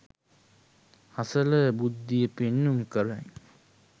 හසල බුද්ධිය පෙන්නුම් කරයි